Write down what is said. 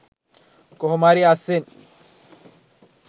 කොහොම හරි අස්සෙන්